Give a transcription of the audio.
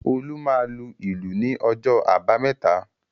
Olú máa lu ìlù ní ọjọ́ àbámẹ́ta